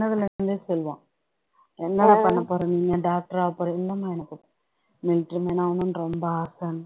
சொல்லுவான் என்ன பண்ண போற நீ doctor ஆக போற இல்லம்மா எனக்கு military man ஆகணுன்னு ரொம்ப ஆசைனு